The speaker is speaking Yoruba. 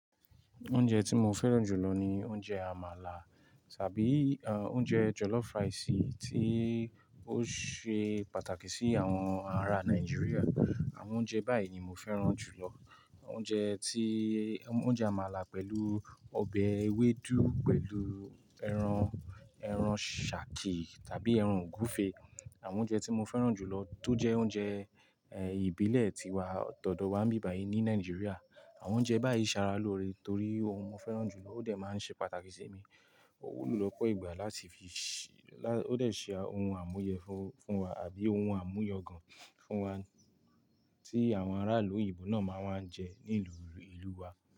Oúnjẹ tí mo fẹ́ràn jù lọ ni oúnjẹ àmàlà tàbí, eh, oúnjẹ jollof rice tí ó ṣe pàtàkì sí àwọn ará Nàìjíríà. Àwọn oúnjẹ báyìí ni mo fẹ́ràn jù lọ. Oúnjẹ tí, oúnjẹ àmàlà pẹ̀lú ọbẹ̀ ewédú pẹ̀lú ẹran, ẹran ṣàki tàbí ẹran ògúfe. Àwọn oúnjẹ tí mo fẹ́ràn jù lọ tó jẹ́ oúnjẹ, ẹ, ìbílẹ̀ ti wa, todawa bíbàyí ní Nàìjíríà. Àwọn oúnjẹ báyìí sara lóore torí mo fẹ́ràn jù lọ, ó dẹ̀ máa ń ṣe pàtàkì sí mi. Ó wúlò púpọ̀ ìgbà láti fi ṣí, lá-- ó dẹ̀ ṣe ohun àmúyẹ fún, fún wa àbí ohun àmúyọ̀gan fún wa tí àwọn ará ìlú òyìnbó náà máa ń wá jẹ ní ìlú, ìlú wa.